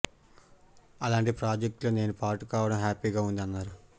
అలాంటి ప్రాజెక్టులో నేను పార్ట్ కావడం హ్యాపీగా ఉంది అన్నారు